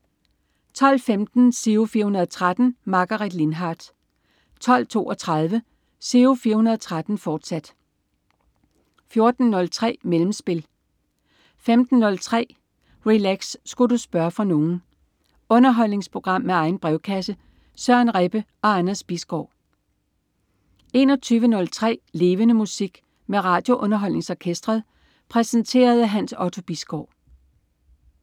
12.15 Giro 413. Margaret Lindhardt 12.32 Giro 413, fortsat 14.03 Mellemspil 15.03 Relax. Sku' du spørge fra nogen? Underholdningsprogram med egen brevkasse. Søren Rebbe og Anders Bisgaard 21.03 Levende Musik. Med RadioUnderholdningsOrkestret. Præsenteret af Hans Otto Bisgaard